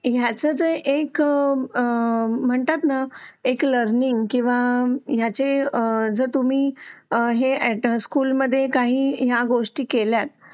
जे एक म्हणतात ना एक लर्निंग किंवा याचे जे तुम्ही हे स्कूलमध्ये काही गोष्टी केल्यात